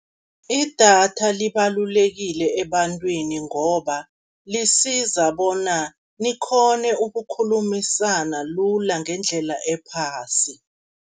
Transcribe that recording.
Idatha libalulekile ebantwini, ngoba lisiza bona nikghone ukukhulumisana lula ngendlela ephasi.